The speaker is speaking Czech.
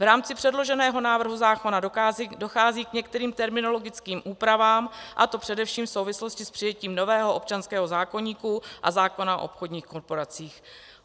V rámci předloženého návrhu zákona dochází k některým terminologickým úpravám, a to především v souvislosti s přijetím nového občanského zákoníku a zákona o obchodních korporacích.